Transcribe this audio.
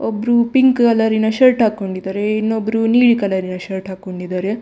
ಒಬ್ರು ಪಿಂಕ್‌ ಕಲರಿನ ಷರ್ಟ್‌ ಹಾಕೊಂಡಿದ್ದಾರೆ ಇನ್ನೊಬ್ರು ನೀಲಿ ಕಲರಿನ ಷರ್ಟ್‌ ಹಾಕೊಂಡಿದ್ದಾರೆ.